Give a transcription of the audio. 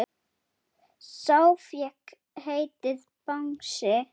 Sá fékk heitið Bangsi.